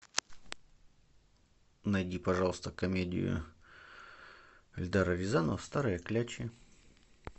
найди пожалуйста комедию эльдара рязанова старые клячи